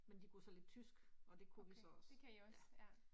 Men de kunne så lidt tysk, og det kunne vi så også ja